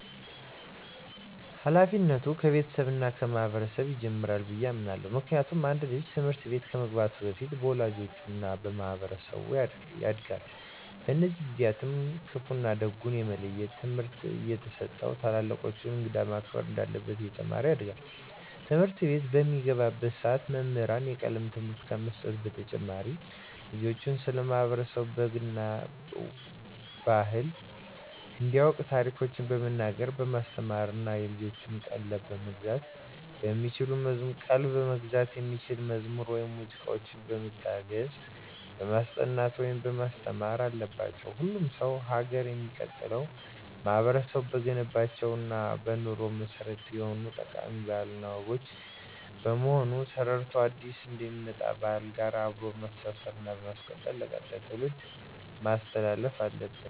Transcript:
ሀላፊነቱ ከቤተሰብ እና ከማህበረሰብ ይጀምራል ብየ አምናለሁ። ምክንያቱም አንድ ልጅ ትምህርት ቤት ከመግባቱ በፊት በወላጆቹ እና በማህበረሰቡ ያጋድል። በእነዚህ ጊዜአትም ክፋ እና ደጉን የመለየት ትምህርት እየተሰጠው ታላላቆቹን፣ እንግዳን ማክበር እንዳለበት እየተማረ ያድጋል። ትምህርትቤት በሚገባባትም ሰዓት መምህራን የቀለም ትምህርትን ከመስጠት በተጨማሪ ልጆችን ስለ ማህበረሰብ ባህል እና ወግ እንዲያቁ ታሪኮችን በመናገር በማስተማር እና የልጆችን ቀልብ መግዛት በሚችሉ መዝሙር ወይም ሙዚቃዎች በመታገዝ በማስጠናት ማስተማር አለባቸው። ሁሉም ሰው ሀገር የሚቀጥለው ማህበረቡ በገነባቸው እና በኑሮ መሰረት በሆኑት ጠቃሚ ባህል እና ወጎች በመሆኑን ተረድቶ አዲስ ከሚመጣ ባህል ጋር አብሮ በማስተሳሰር እና በማስቀጠል ለቀጣይ ትውልድ ማስተላለፍ አለበት።